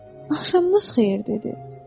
Axşamınız xeyir dedi.